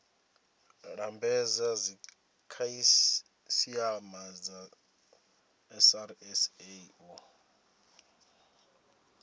lambedza dzikhasiama dza srsa u